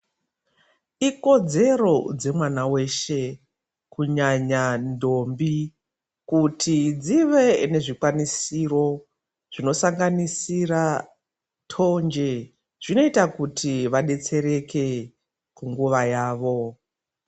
Ikodzero dze mwana weshe kunyanya ndombi kuti dzive ne zvikwanisiro zvino sanganira tonje zvinoita kuti va detsereke nguva yavo.